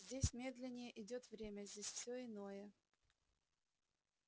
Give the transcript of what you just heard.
здесь медленнее идёт время здесь всё иное